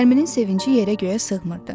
Nərminin sevinci yerə-göyə sığmırdı.